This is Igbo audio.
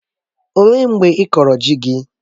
Ọ léé mgbe ịkọrọ ji gị?